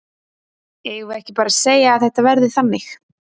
Eigum við ekki bara að segja að þetta verði þannig?